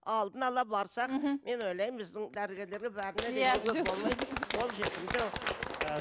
алдын ала барсақ мхм мен ойлаймын біздің дәрігерлерге бәріне қол жетімді ііі